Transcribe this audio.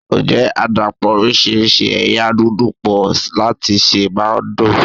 Ǹjẹ́ àdàpọ̀ oríṣiríṣi ẹ̀yà núdù pọ̀ láti sè máa ń dùn?